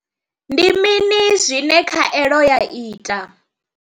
Ndi mini zwine khaelo ya ita?